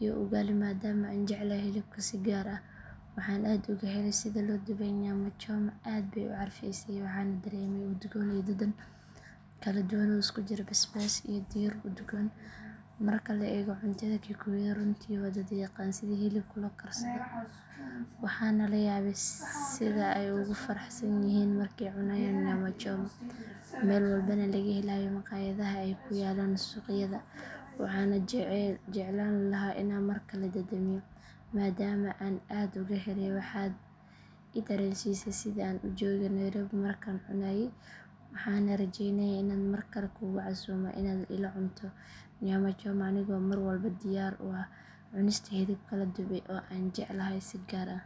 iyo ugali maadama aan jeclahay hilibka si gaar ah waxaan aad uga helay sida loo dubay nyamachoma aad bay u carfaysay waxaana dareemay udgoon iyo dhadhan kala duwan oo isku jira basbaas iyo dhir udgoon marka la eego cuntada kikuyada runtii waa dad yaqaan sida hilibka loo karsado waxaana la yaabay sida ay ugu faraxsan yihiin markay cunayaan nyamachoma meel walbana laga helayo maqaayadaha ay ku yaallaan suuqyada waxaan jeclaan lahaa inaan mar kale dhadhamiyo maadama aan aad uga helay waxaad i dareensiisay sidii aan u joogo Nairobi markaan cunayay waxaana rajaynayaa inaad mar kale kugu casuumo inaad ila cunto nyamachoma anigoo mar walba diyaar u ah cunista hilibka la dubay oo aan jeclahay si gaar ah.